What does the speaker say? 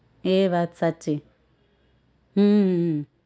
એ વાત સાચી હમ